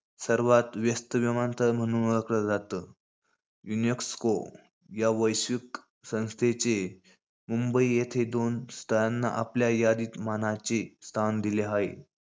सर्वात व्यस्त विमानतळ म्हणुन ओळखलं जातं. युनेस्को या वैश्विक संस्थेचे मुंबई येथे दोन स्थळांना आपल्या यादित मानाचे स्थान दिले हाये.